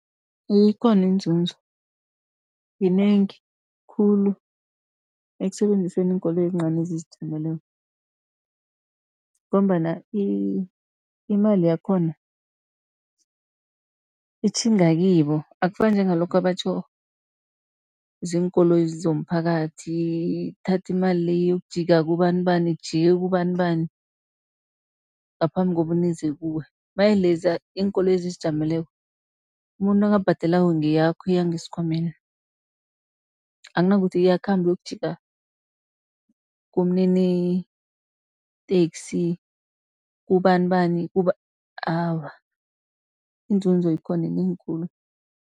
Ikhona iinzuzo yinengi khulu, ekusebenziseni iinkoloyi ezincani ezizijameleko. Ngombana imali yakhona itjhinga kibo, akufani njengalokha batjho ziinkoloyi zomphakathi thatha imali le iyokujika kubani-bani, ijike kubani-bani ngaphambi kobana ize kuwe. Maye leza iinkoloyi ezizijameleko umuntu nakabhadelako ngeyakho iya ngesikhwameni, akunakuthi iyakhamba iyokujika kumniniteksi kubani-bani, awa iinzuzo ikhona yinengi khulu.